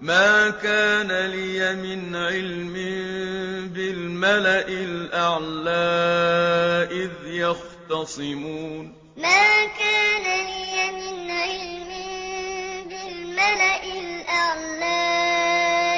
مَا كَانَ لِيَ مِنْ عِلْمٍ بِالْمَلَإِ الْأَعْلَىٰ إِذْ يَخْتَصِمُونَ مَا كَانَ لِيَ مِنْ عِلْمٍ بِالْمَلَإِ الْأَعْلَىٰ